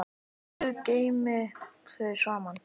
Guð geymi þau saman.